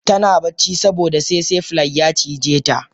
Tana ta bacci saboda tsetse fly ya cijeta.